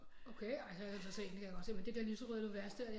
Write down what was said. Okay ej så er jeg nødt til at se den det kan jeg godt se men det der lyserøde univers det